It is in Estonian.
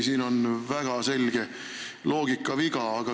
Siin on väga selge loogikaviga.